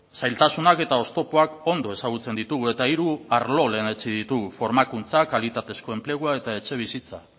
zailtasunak eta oztopoak ondo ezagutzen ditugu eta hiru arlo lehenetsi ditugu formakuntza kalitatezko enplegua eta etxebizitza